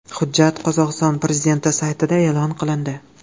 Hujjat Qozog‘iston prezidenti saytida e’lon qilindi .